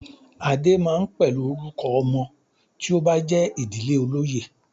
"Adé" máa ń pẹ̀lú orúkọ ọmọ tí ó bá jé idije olóyè.